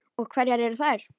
Og hverjar eru þær?